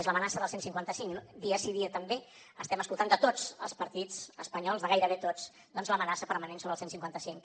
és l’amenaça del cent i cinquanta cinc dia sí dia també estem escoltant de tots els partits espanyols de gairebé tots doncs l’amenaça permanent sobre el cent i cinquanta cinc